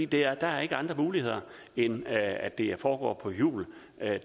der er ikke andre muligheder end at det foregår på hjul